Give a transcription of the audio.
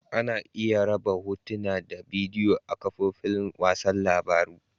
Ana iya raba Hotuna da bidiyo a'kafofin wasan labaru.